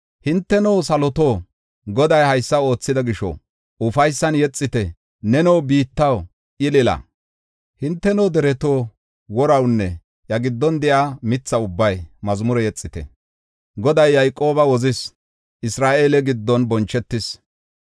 “Hinteno saloto, Goday haysa oothida gisho, ufaysan yexite; neno biittaw, ilila. Hinteno dereto, worawnne iya giddon de7iya mitha ubbay mazmure yexite. Goday Yayqooba wozis; Isra7eele giddon bonchetis.